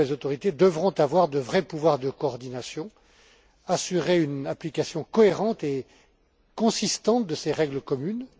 Ces nouvelles autorités devront avoir, selon moi, de vrais pouvoirs de coordination et assurer une application cohérente et consistante de ces règles communes.